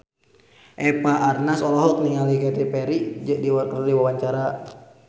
Eva Arnaz olohok ningali Katy Perry keur diwawancara